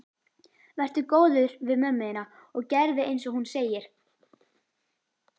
Vertu góður við mömmu þína og gerðu einsog hún segir.